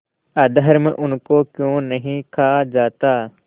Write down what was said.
अधर्म उनको क्यों नहीं खा जाता